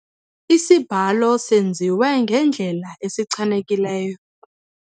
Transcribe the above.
Isibhalo senziwe ngendlela esichanekileyo.